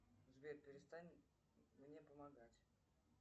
сбер перестань мне помогать